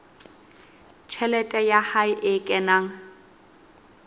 tjhelete ya hae e kenang